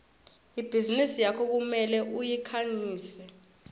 ibhizinisi yakho kumele uyikhangise